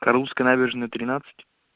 русская набережная тринадцать